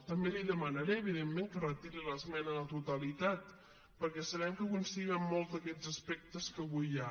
també li demanaré evidentment que retiri l’esmena a la totalitat perquè sabem que coincidim en molts d’aquests aspectes que avui hi ha